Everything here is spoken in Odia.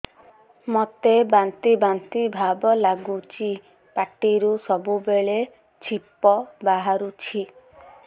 ମୋତେ ବାନ୍ତି ବାନ୍ତି ଭାବ ଲାଗୁଚି ପାଟିରୁ ସବୁ ବେଳେ ଛିପ ବାହାରୁଛି